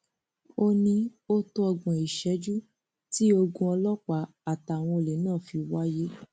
ó ní ó tó ọgbọn ìṣẹjú tí ogun ọlọpàá àtàwọn olè náà fi wáyé